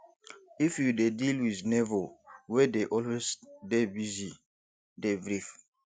if you dey deal with neigbour wey dey always dey busy dey brief